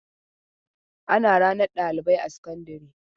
Ana ranar ɗalibai a sakandare.